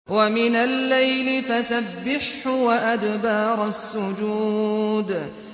وَمِنَ اللَّيْلِ فَسَبِّحْهُ وَأَدْبَارَ السُّجُودِ